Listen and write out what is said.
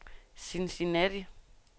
Cincinnati